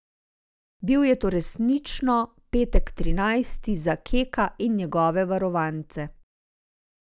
Bil je to resnično petek trinajsti za Keka in njegove varovance.